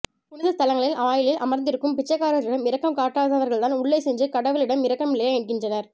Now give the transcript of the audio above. புனித ஸ்தலங்களின் வாயிலில் அமர்ந்திருக்கும் பிச்சைக்காரர்களிடம் இரக்கம் காட்டாதவர்கள்தான் உள்ளே சென்று கடவுளிடம் இரக்கம் இல்லையா என்கின்றனர்